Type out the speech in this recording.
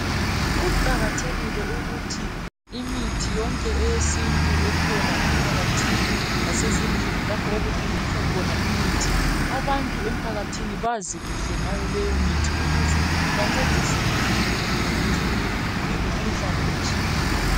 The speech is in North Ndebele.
Kuqakathekile ukuthi imithi yonke eyesintu ekhona emphakathini lasezindlini lapho okuthengiswa khona imithi, abantu emphakathini bazi kuhle ngayoleyomithi ukuze bancediseke kuhle, emphakathini ngemikhuhlane etshiyeneyo.